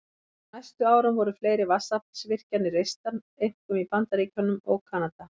Á næstu árum voru fleiri vatnsaflsvirkjanir reistar, einkum í Bandaríkjunum og Kanada.